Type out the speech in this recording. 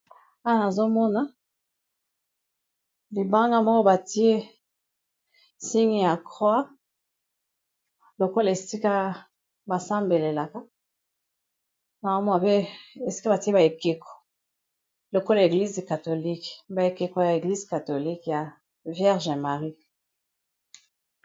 wana azomona libanga moko batie sini ya croi lokola esika basambelelaka na amwa pe esika batie baekeko lokolo eglise katholikue baekeko ya eglise katholique ya viergeemarie